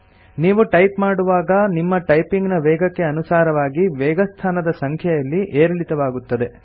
ನೀವು ಟೈಪ್ ಮಾಡುವಾಗ ನಿಮ್ಮ ಟೈಪಿಂಗ್ ನ ವೇಗಕ್ಕೆ ಅನುಸಾರವಾಗಿ ವೇಗಸ್ಥಾನದ ಸಂಖ್ಯೆಯಲ್ಲಿ ಏರಿಳಿತವಾಗುತ್ತದೆ